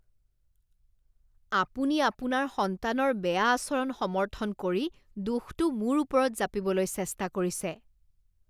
আপুনি আপোনাৰ সন্তানৰ বেয়া আচৰণ সমৰ্থন কৰি দোষটো মোৰ ওপৰত জাপিবলৈ চেষ্টা কৰিছে।